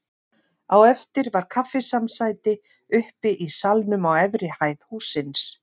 Á eftir var kaffisamsæti uppi í salnum á efri hæð hússins.